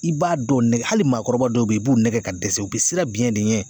I b'a dɔw nɛgɛ hali maakɔrɔba dɔw be yen i b'u nɛgɛ ka dɛsɛ u be siran biɲɛ de ɲɛ